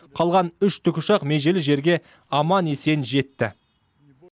қалған үш тікұшақ межелі жерге аман есен жетті